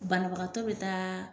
Banabagatɔ bɛ taa